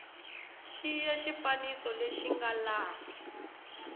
xiya xifaniso lexi nga laha